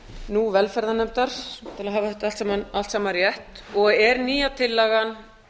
nú velferðarnefndar til að hafa þetta allt saman rétt og er nýja tillagan